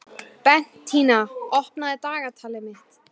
Bentína, opnaðu dagatalið mitt.